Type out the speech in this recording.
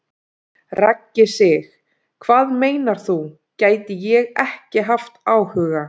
Raggi Sig: Hvað meinar þú, gæti ég ekki haft áhuga?